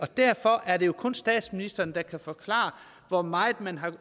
derfor er det kun statsministeren der kan forklare hvor meget man